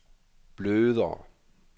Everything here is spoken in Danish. blødere